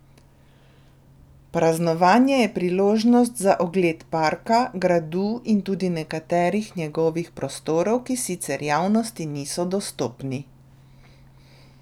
Praznovanje je priložnost za ogled parka, gradu in tudi nekaterih njegovih prostorov, ki sicer javnosti niso dostopni.